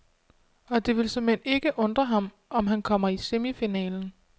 Og det vil såmænd ikke undre ham, om han kommer i semifinalen.